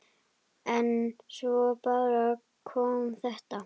En svo bara kom þetta.